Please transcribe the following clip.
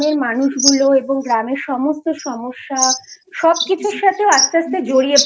মানুষগুলো এবং গ্রামের সমস্ত সমস্যা সবকিছুর সাথে ও আস্তে আস্তে জড়িয়ে